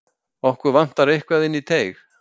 Okkur vantar eitthvað inn í teig.